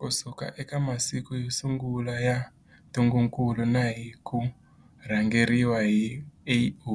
Kusuka eka masiku yo sungula ya ntungukulu na hi ku rhangeriwa hi AU,